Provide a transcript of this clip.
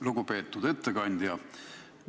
Lugupeetud ettekandja!